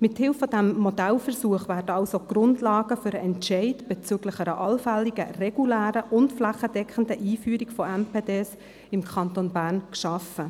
Mithilfe dieses Modellversuchs werden also die Grundlagen für den Entscheid bezüglich einer allfälligen regulären und flächendeckenden Einführung von MPD im Kanton Bern geschaffen.